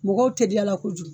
Mɔgɔw teliyala kojugu.